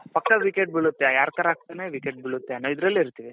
ಪಕ್ಕ wicket ಬಿಳುತ್ತೆ ಯಾರ ತರ ಹಾಕ್ತಾನೆ wicket ಬಿಳುತ್ತೆ ಅನ್ನೋ ಇದ್ರಲ್ಲಿರ್ತೀವಿ.